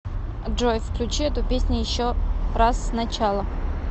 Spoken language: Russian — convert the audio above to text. джой включи эту песню еще раз сначала